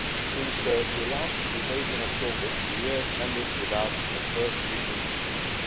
Since your last debate in October, the year ended without a first reading agreement.